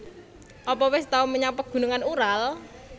Apa wis tau menyang Pegunungan Ural